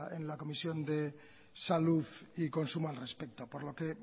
en la comisión de salud y consumo al respecto por lo que